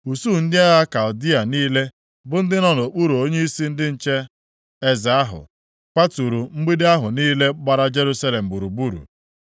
Usuu ndị agha Kaldịa niile bụ ndị nọ nʼokpuru onyeisi ndị nche eze ahụ, kwaturu mgbidi ahụ niile gbara Jerusalem gburugburu.